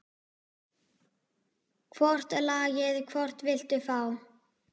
Hvort lagið, hvort viltu fá?